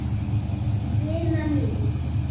Vina mín!